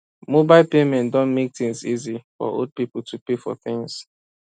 mobile payment don make things easy for old people to pay for things